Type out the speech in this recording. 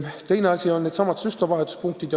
Teine asi on needsamad süstlavahetuspunktid.